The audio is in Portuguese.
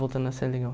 Voltando a ser legal.